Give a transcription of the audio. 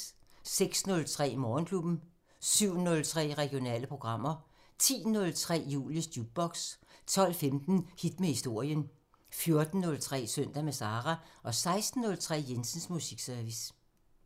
06:03: Morgenklubben 07:03: Regionale programmer 10:03: Julies Jukebox 12:15: Hit med historien 14:03: Søndag med Sara 16:03: Jensens Musikservice